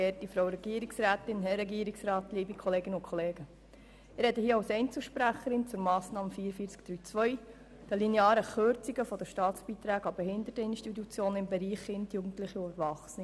Ich spreche hier als Einzelsprecherin zur Massnahme 44.3.2, den linearen Kürzungen der Staatsbeiträge an Behinderteninstitutionen im Bereich Kinder, Jugendliche und Erwachsene.